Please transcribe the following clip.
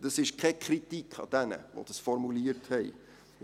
Dies ist keine Kritik an denen, die das formuliert haben.